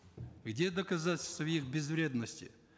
где доказательства их безвредности